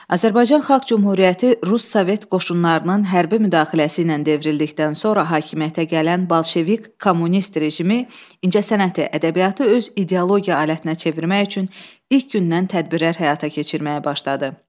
Azərbaycan Xalq Cümhuriyyəti Rus Sovet qoşunlarının hərbi müdaxiləsi ilə devrildikdən sonra hakimiyyətə gələn bolşevik kommunist rejimi incəsənəti, ədəbiyyatı öz ideologiya alətinə çevirmək üçün ilk gündən tədbirlər həyata keçirməyə başladı.